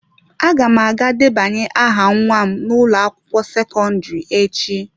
Aga m aga debanye aha nwa m n'ụlọ akwụkwọ sekọndrị echi.